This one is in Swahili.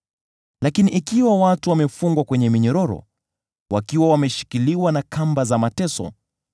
Lakini ikiwa watu wamefungwa kwenye minyororo, wakiwa wameshikiliwa na kamba za mateso,